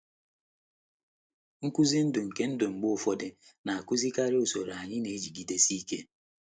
Nkwụsị ndụ nke ndụ mgbe ụfọdụ na-akụzie karịa usoro anyị na-ejigidesi ike.